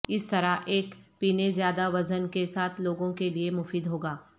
اس طرح کے ایک پینے زیادہ وزن کے ساتھ لوگوں کے لئے مفید ہو گا